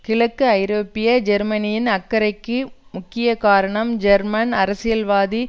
கிழக்கு ஐரோப்பிய ஜெர்மனியின் அக்கறைக்கு முக்கிய காரணம் ஜெர்மன் அரசியல்வாதி